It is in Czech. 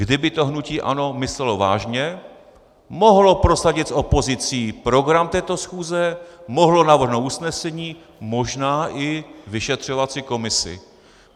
Kdyby to hnutí ANO myslelo vážně, mohlo prosadit s opozicí program této schůze, mohlo navrhnout usnesení, možná i vyšetřovací komisi.